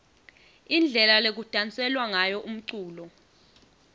indlela lekudanselwa ngayo umculo